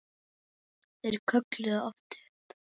Þeir kölluðu oft upp